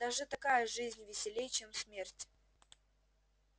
даже такая жизнь веселей чем смерть